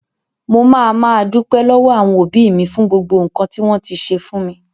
Mo ma máa dúpẹ lọwọ àwọn òbí mi fún gbogbo nkan ti wọn ti ṣe fún mi.